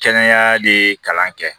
Kɛnɛya de ye kalan kɛ